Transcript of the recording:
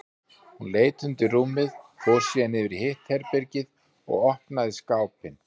Hún leit undir rúmið, fór síðan yfir í hitt herbergið og opnaði skápinn.